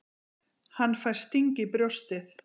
Hann fær sting í brjóstið.